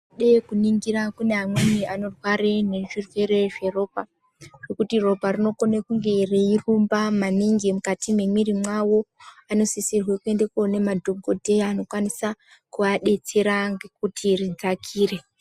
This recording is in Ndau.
Eh kuningira kune amweni anorware nezvirwere zveropa zvekuti ropa rinokone kunge reirumba maningi mukati memwiri mavo. Anosisirwe kuende koone madhokoteya anokwanisa kuadetsera ngekuti ridzakire.